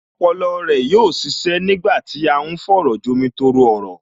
Ọpọlọ rẹ yóò ṣiṣẹ́ nígbà tí à ń fọ̀rọ̀jomi-tooro-ọ̀rọ̀